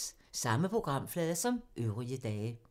Samme programflade som øvrige dage